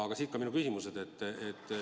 Aga siit ka minu küsimused.